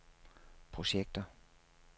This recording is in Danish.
projekter